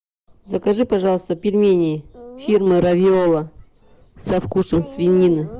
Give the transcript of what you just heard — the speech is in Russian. закажи пожалуйста пельмени фирмы равиоло со вкусом свинины